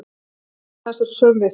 En sál þess er söm við sig.